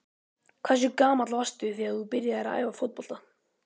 Hversu gamall varstu þegar þú byrjaðir að æfa fótbolta?